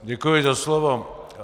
Děkuji za slovo.